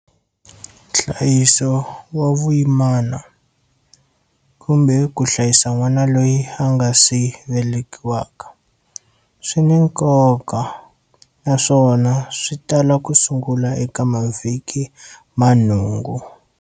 Nhlayiso wa vuyimana kumbe, ku hlayisa n'wana loyi a ngasi velekiwaka, swi na nkoka naswona swi tala ku sungula eka mavhiki ma nhungu.